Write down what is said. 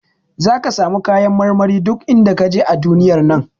Zaka samu kayan marmari duk inda kaje a duniyar nan.